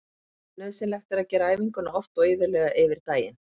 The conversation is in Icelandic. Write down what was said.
Nauðsynlegt er að gera æfinguna oft og iðulega yfir daginn.